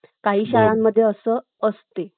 काही शाळांमध्ये असं असते